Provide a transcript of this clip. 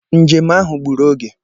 Njem ahụ gburu oge.